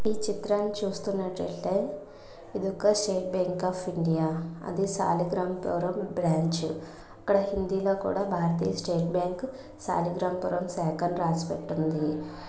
అంటే ఈ చిత్రాన్ని చూస్తున్నట్లయితే ఇది ఒక స్టేట్ బ్యాంక్ ఆఫ్ ఇండియా అది సాలిగ్రాంపురం బ్రాంచ్. అక్కడ హిందీ లో కూడా భారతీయ స్టేట్ బ్యాంకు సాలిగ్రాంపురం శాఖ అని రాసిపెట్టి ఉంది.